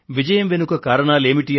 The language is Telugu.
విజయం వెనుక కారణాలు ఏమిటి